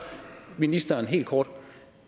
ministeren helt kort